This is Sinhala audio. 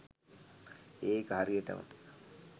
ඒක හරියටම